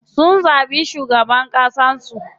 Sun zaɓi shugaban ƙasan su.